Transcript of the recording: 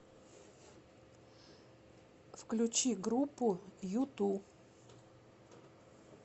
включи группу юту